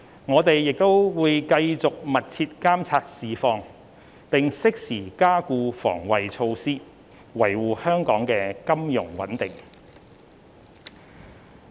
我們會繼續密切監察市況，並適時加固防衞措施，維護香港的金融穩定。